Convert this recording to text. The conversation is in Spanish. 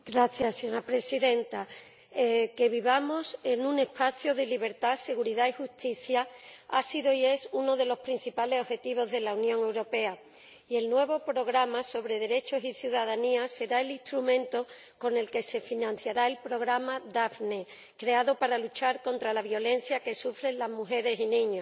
Señora Presidenta, que vivamos en un espacio de libertad, seguridad y justicia ha sido y es uno de los principales objetivos de la Unión Europea, y el nuevo programa de Derechos, Igualdad y Ciudadanía será el instrumento con el que se financiará el programa Daphne, creado para luchar contra la violencia que sufren las mujeres y los niños.